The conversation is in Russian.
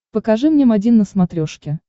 покажи мне м один на смотрешке